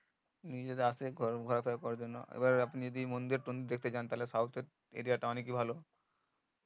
নিজেরা আসে ঘোরা টোরা করার জন্য এবার আপনি যদি মন্দির মন্দির দেখতে যান তাহলে south এর area অনেকই ভালো